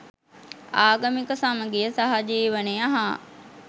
ආගමික සමගිය සහජීවනය හා